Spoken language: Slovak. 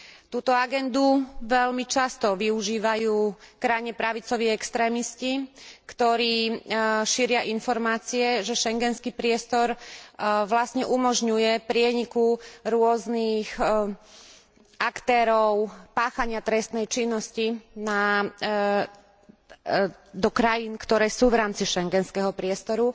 Túto agendu veľmi často využívajú krajne pravicoví extrémisti, ktorí šíria informácie, že schengenský priestor vlastne umožňuje prieniku rôznych aktérov páchania trestnej činnosti do krajín, ktoré sú v rámci schengenského priestoru,